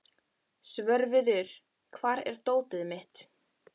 Svörfuður, hvar er dótið mitt?